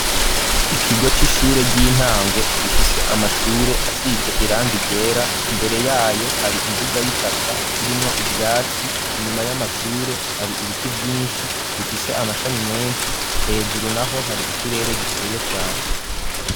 Ikigo c'ishure ry'intango ,gifise amashure asize irangi ryera, imbere yayo hari imbuga y'itaka, irimwo ivyatsi, inyuma y'amashure hari ibiti vyinshi bifise amashami menshi ,hejuru naho hari ikirere gikeye cane.